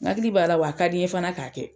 N hakili b'a la, wa ka di n ye fana ka kɛ.